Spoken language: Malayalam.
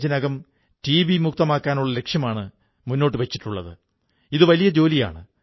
അദ്ദേഹം ലക്ഷക്കണക്കിന് കോടിക്കണക്കിന് ദരിദ്രർക്കും ദളിതർക്കും വലിയ പ്രതീക്ഷയാണ്